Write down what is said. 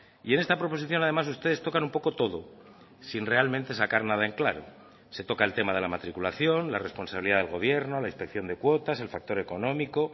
y en esta proposición además ustedes tocan un poco todo sin realmente sacar nada en claro se toca el tema de la matriculación la responsabilidad del gobierno la inspección de cuotas el factor económico